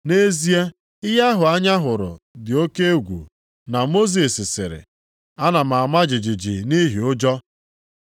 Nʼezie, ihe ahụ anya hụrụ dị oke egwu na Mosis sịrị, “Ana m ama jijiji nʼihi ụjọ.” + 12:21 \+xt Dit 9:19\+xt*